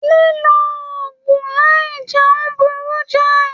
Lilo òògùn láì jẹun burú jai.